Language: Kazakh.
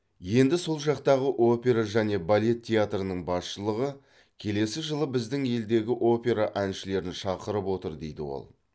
енді сол жақтағы опера және балет театрының басшылығы келесі жылы біздің елдегі опера әншілерін шақырып отыр дейді ол